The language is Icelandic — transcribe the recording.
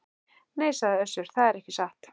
Nei, sagði Össur, það er ekki satt.